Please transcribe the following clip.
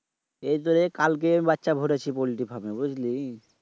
এই দর কালকে বাচ্চা ফুটাইছি পল্টি ফার্মে বুঝলি?